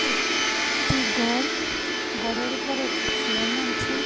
এক টি ঘর ঘরের উপর একটি ফ্যান আছে.